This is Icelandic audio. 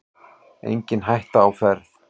Engin hætta á ferð